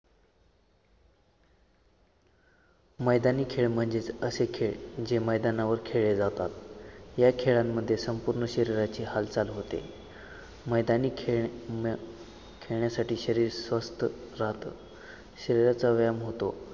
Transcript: मैदानी खेळ म्हणजेच असे खेळ जे मैदानावर खेळले जातात. या खेळांमध्ये संपूर्ण शरीराची हालचाल होते. मैदानी खेळ हम्म खेळण्यासाठी शरीर स्वस्त राहत शरीराचा व्यायाम होतो